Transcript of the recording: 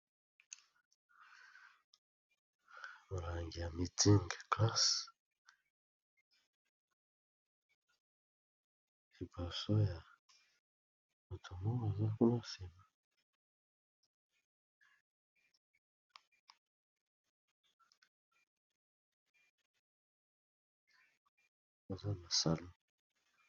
Molangi ya masanga mitzing class, likolo ya mesa na kitambala ya pembe.